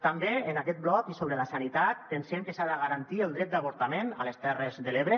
també en aquest bloc i sobre la sanitat pensem que s’ha de garantir el dret d’avortament a les terres de l’ebre